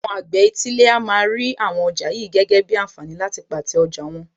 Àwọn àgbẹ̀ etílé a máa rí àwọn ọjà yìí gẹ́gẹ́ bíi ànfààní láti pàtẹ́ ọjà wọn.